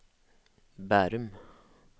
Bærum